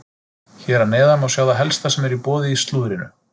Hér að neðan má sjá það helsta sem er í boði í slúðrinu.